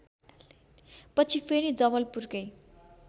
पछि फेरि जवलपुरकै